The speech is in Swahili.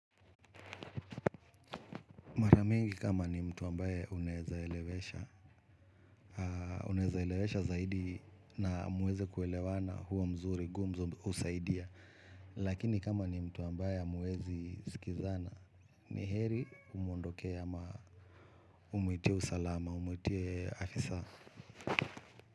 Maramingi kama ni mtu ambaye unaezaelewesha, unezaelewesha zaidi na muweze kuelewana huwa mzuri gumzo husaidia. Lakini kama ni mtu ambaye hamuezi sikizana, ni heri umuondokee ama umuitie usalama, umuitie afisa.